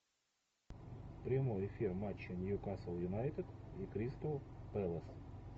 прямой эфир матча ньюкасл юнайтед и кристал пэлас